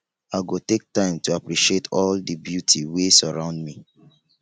i go take time to appreciate all di beauty wey surround me